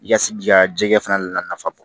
I ka se k'i ka jikɛ fana nafa bɔ